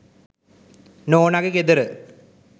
නෝනගෙ ගෙදර.